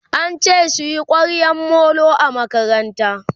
ance suyi kwaryan Molo a makaranta